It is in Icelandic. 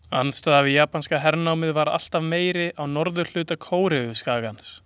Andstaðan við japanska hernámið var alltaf meiri á norðurhluta Kóreuskagans.